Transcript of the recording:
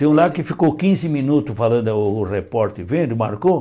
Tem um lá que ficou quinze minutos falando, o o repórter vendo, marcou.